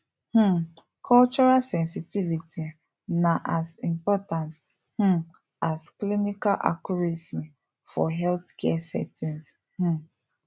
um cultural sensitivity na as important um as clinical accuracy for healthcare settings um